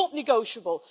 it is not negotiable.